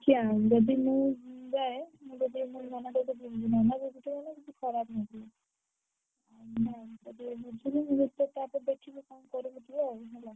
ଦେଖିଆ ଯଦି ମୁଁ ଯାଏ ମୁଁ ଯଦି ମୋ ନନା ନନା ଯଦି ଖରାପ ଭାବିବୁ ଯଦି ବୁଝିବି ଦେଖିଆ ତାପରେ ଦେଖିବି କଣ କରିବି ଯିବା ଆଉ ହେଲା।